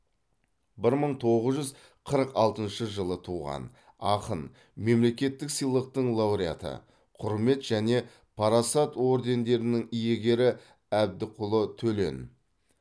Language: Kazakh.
бір мың тоғыз жүз қырық алтыншы жылы туған ақын мемлекеттік сыйлықтың лауреаты құрмет және парасат ордендерінің иегері әбдікұлы төлен